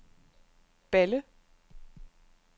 Balle